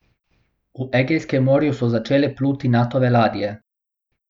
V Egejskem morju so začele pluti Natove ladje.